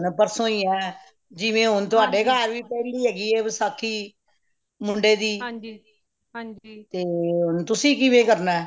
ਹੁਣ ਪਰਸੋ ਹੀ ਹੈ ਜਿਵੇਂ ਹੁਣ ਤੁਹਾਡੇ ਘਰ ਵੀ ਪਹਲੀ ਵਸਾਖ਼ੀ ਮੁੰਡੇ ਦੀ ਤੇ ਹੁਣ ਤੁਸੀਂ ਕਿਵੇਂ ਕਰਨਾ ਹੈ